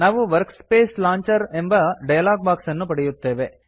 ನಾವು workspace launcher ಎಂಬ dialog box ಅನ್ನು ಪಡೆಯುತ್ತೇವೆ